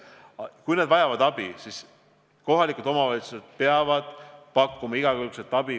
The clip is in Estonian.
Kui eakad vajavad abi, siis kohalikud omavalitsused peavad igakülgset abi ka pakkuma.